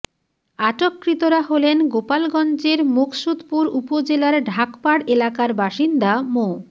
আটককৃতরা হলেন গোপালগঞ্জের মুকসুদপুর উপজেলার ঢাকপাড় এলাকার বাসিন্দা মো